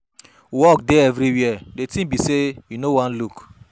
Work dey everywhere, the thing be say you no wan look.